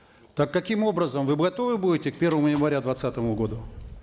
так каким образом вы готовы будете к первому января к двадцатому году